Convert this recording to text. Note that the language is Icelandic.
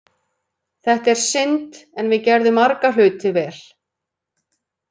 Þetta er synd, en við gerðum marga hluti vel.